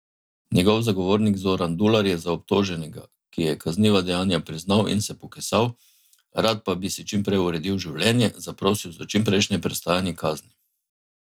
Njegov zagovornik Zoran Dular je za obtoženega, ki je kazniva dejanja priznal in se pokesal, rad pa bi si čim prej uredil življenje, zaprosil za čimprejšnje prestajanje kazni.